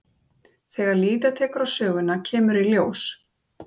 Þegar líða tekur á söguna kemur í ljós.